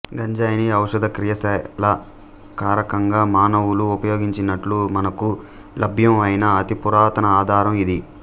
గంజాయిని ఔషద క్రియాశీల కారకంగా మానవులు ఉపయోగించినట్లు మనకు లభ్యం అయిన అతి పురాతన ఆధారం ఇది